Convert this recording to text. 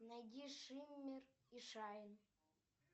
найди шиммер и шайн